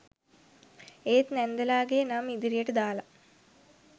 ඒත් නැන්දලාගෙ නම් ඉදිරියට දාලා